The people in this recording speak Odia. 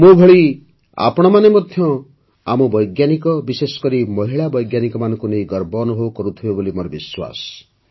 ମୋ ଭଳି ଆପଣମାନେ ମଧ୍ୟ ଆମ ବୈଜ୍ଞାନିକ ବିଶେଷକରି ମହିଳା ବୈଜ୍ଞାନିକମାନଙ୍କୁ ନେଇ ଗର୍ବ ଅନୁଭବ କରୁଥିବେ ବୋଲି ମୋର ବିଶ୍ୱାସ